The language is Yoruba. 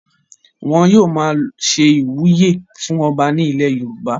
wọn yóò máa ṣe ìwúyè fún ọba ní ilẹ̀ yorùbá